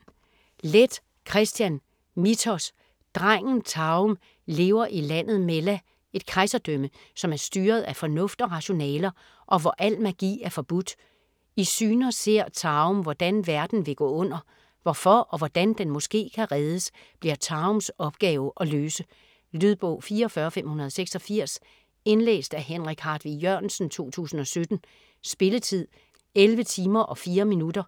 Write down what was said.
Leth, Kristian: Mithos Drengen Taom lever i landet Mella, et kejserdrømme, som er styret af fornuft og rationaler, og hvor al magi er forbudt. I syner ser Taom, hvordan verden vil gå under. Hvorfor og hvordan den måske kan reddes, bliver Taoms opgave at løse. Lydbog 44586 Indlæst af Henrik Hartvig Jørgensen, 2017. Spilletid: 11 timer, 4 minutter.